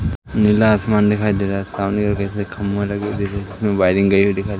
नीला आसमान दिखाई दे रहा है सामने ओर देखे खंभा लगे हुए जिसमें वायरिंग गई हुई दिखा--।